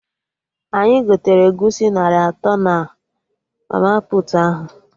Anyị gotere Egusi narị atọ na mama puutu ahụ